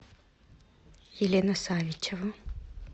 елена савичева